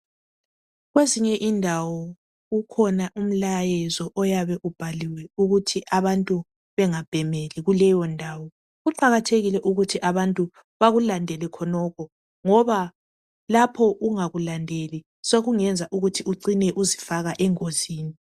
kwezinye indawo kukhona umlayezo oyabe ubhaliwe ukuthi abantu bengabhemeli kuleyo ndawo kuqakathekile ukuthi abantu bakulandele khonokho ngoba lapho ungakulandeli sekungenza ukuthi ucine uzifaka engozini